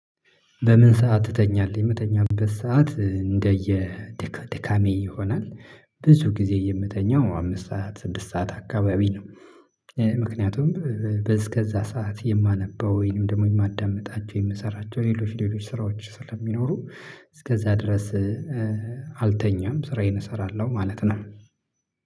በምን ሰዓት ትተኛለህ? የምተኛበት ሰዓት እንደየ ድካሜ ይሆናል ብዙ ጊዜ የምተኛው አምስት ሰዓት ስድስት ሰዓት አካባቢ ነው። ምክንያቱም በእስከዛ ሰዓት የማነበው ወይንም ደግሞ የማዳምጣቸው የምሰራቸው ሌሎች ሌሎች ስራዎች ስለሚኖሩ። እስከዛ ድረስ። አልተኛም ስራዬን እሰራለሁ ማለት ነው።